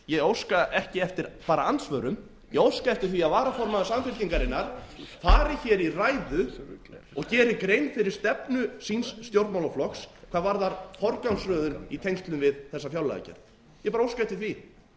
ég óska ekki eftir bara andsvörum ég óska eftir því að varaformaður samfylkingarinnar fari hér í ræðu og geri grein fyrir stefnu síns stjórnmálaflokks hvað varðar forgangsröðun í tengslum við þessa fjárlagagerð ég bara óska eftir því